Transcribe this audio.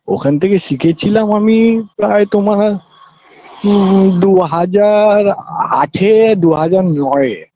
ওখান থেকে শিখে ছিলাম আমি প্রায় তোমার উম দুহাজার আঠে দুহাজার নয়ে